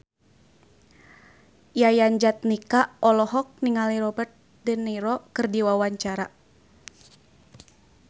Yayan Jatnika olohok ningali Robert de Niro keur diwawancara